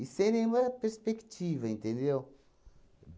E sem nenhuma perspectiva, entendeu?